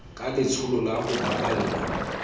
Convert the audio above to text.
ka letsholo la ho baballa